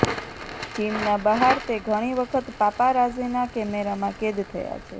જિમના બહાર તે ઘણી વખત પાપારાઝીના કેમેરામાં કેદ થયા છે